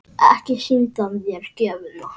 Ekki sýndi hann þér gjöfina?